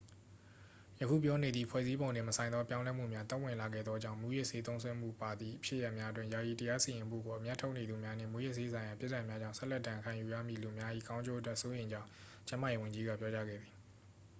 ယခုပြောနေသည့် ဖွဲ့စည်းပုံနှင့်မဆိုင်သော ပြောင်းလဲမှုများ သက်ဝင်လာခဲ့သောကြောင့် မူးယစ်ဆေးသုံးစွဲမှုပါသည့် ဖြစ်ရပ်များအတွက် ယာယီတရားစီရင်မှုကို အမြတ်ထုတ်နေသူများနှင့် မူးယစ်ဆေးဆိုင်ရာ ပြစ်ဒဏ်များကြောင့် ဆက်လက်ဒဏ်ခံယူရမည့် လူများ၏ ကောင်းကျိုးအတွက် စိုးရိမ်ကြောင်း ကျန်းမာရေးဝန်ကြီးက ပြောကြားခဲ့သည်